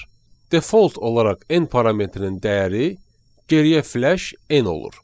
Default olaraq end parametrinin dəyəri geriyə flash n olur.